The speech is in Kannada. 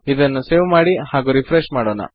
ಇದನ್ನು ಸೇವ್ ಮಾಡಿ ಹಾಗು ರೆಫ್ರೆಶ್ ಮಾಡೋಣ